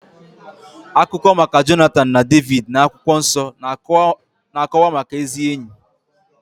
Akụkọ maka Jonatan na Devid n'akwụkwọ nsọ na-akọwa maka ezi ényì.